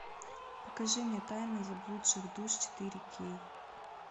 покажи мне тайны заблудших душ четыре кей